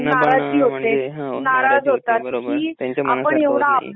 हा बरोबर त्यांच्या मनासारख होत नाही.